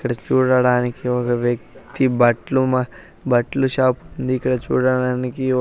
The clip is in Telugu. ఇక్కడ చూడడానికి ఒక వ్యక్తి బట్లుమ బట్లు షాపు ఉంది ఇక్కడ చూడడానికి--